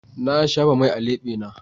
Na shafa mai a lebena.